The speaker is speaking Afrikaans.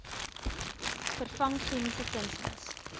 vervang chemiese kunsmis